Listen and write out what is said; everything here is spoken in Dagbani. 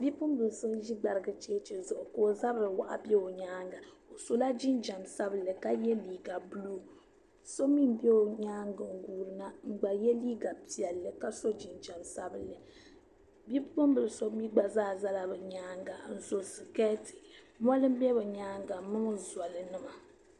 Niriba ata n zaya ŋɔ niriba ayi bela palli zuɣu yino guuri mi ŋun guuri maa yɛla liiga piɛlli ka piri namda piɛlli ka so jinjam sheli din nyɛ zaɣa nuɣusu o kpee n bɛ o tooni o ʒila gbarigu loori zuɣu.